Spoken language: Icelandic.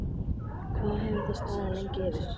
Hvað hefur það staðið lengi yfir?